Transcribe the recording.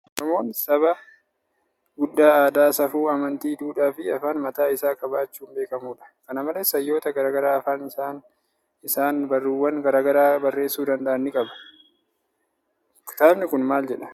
Oromoon saba guddaa aadaa, safuu, amanti, duudhaa fi afaan mataa isaa qabaachuun beekamudha. Kana malees, hayyoota garaa garaa afaan isaan barruuwwan garaa garaa barreessuu danda'an ni qaba. Kitaabni kun maal jedha?